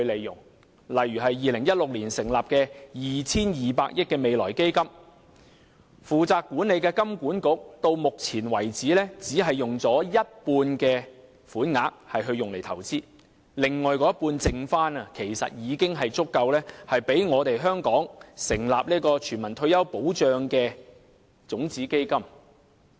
舉例而言 ，2016 年成立的 2,200 億元未來基金，負責管理的香港金融管理局至今只用了一半款額作投資，餘下的另一半其實已經足夠讓香港成立全民退休保障的種子基金。